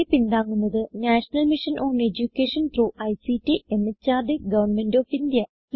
ഇതിനെ പിന്താങ്ങുന്നത് national mission on education through ICT MHRD government of India